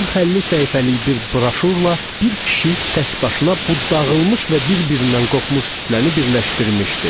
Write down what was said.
40-50 səhifəlik bir broşurla bir kişi təkbaşına bu dağılmış və bir-birindən qopmuş kütləni birləşdirmişdi.